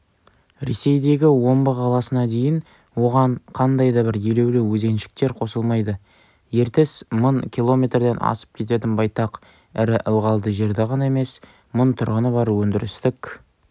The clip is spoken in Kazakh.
ресейдегі омбы қаласына дейін оған қандай да бір елеулі өзеншіктер қосылмайды ертіс мың киллометрден асып кететін байтақ ірі ылғалды жерді ғана емес мың тұрғыны бар өндірістік